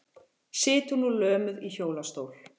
Situr nú lömuð í hjólastól.